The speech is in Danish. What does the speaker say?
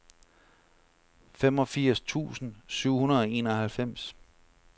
femogfirs tusind syv hundrede og enoghalvfems